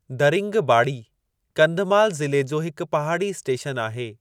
दरिंगबाड़ी, कंधमाल ज़िले जी हिक पहाड़ी स्टेशन आहे।